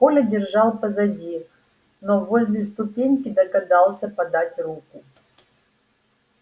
коля держался позади но возле ступеньки догадался подать руку